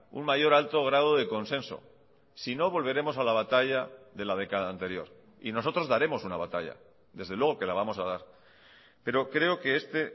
un mayor alto grado de consenso si no volveremos a la batalla de la década anterior y nosotros daremos una batalla desde luego que la vamos a dar pero creo que este